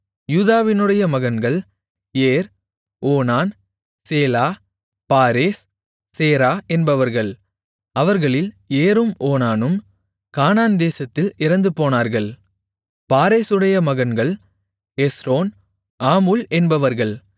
யூதாவினுடைய மகன்கள் Er Onan Shelah Perez Zerah என்பவர்கள் அவர்களில் ஏரும் ஓனானும் கானான்தேசத்தில் இறந்துபோனார்கள் பாரேசுடைய மகன்கள் எஸ்ரோன் ஆமூல் என்பவர்கள்